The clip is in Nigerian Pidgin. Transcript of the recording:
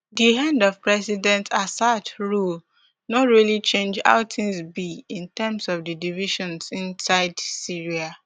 di end of president assad rule no really change how tins be in terms of di divisions inside syria